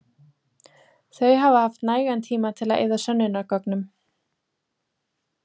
Þau hafa haft nægan tíma til að eyða sönnunargögnum.